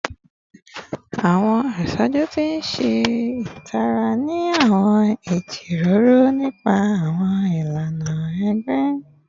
Awọn asoju ti n ṣe itara ni awọn ijiroro nipa awọn ilana ẹgbẹ